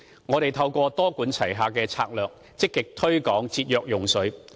我們透過多管齊下的策略，積極推廣節約用水。